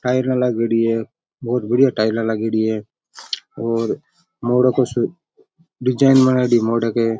टाईला लागेड़ी है बहुत बड़िया टाईला लागेड़ी है और मोड़ो को सू डिजाईन बनायेडी है मोड़ के।